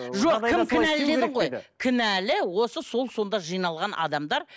жоқ кім кінәлі дедің ғой кінәлі осы сол сонда жиналған адамдар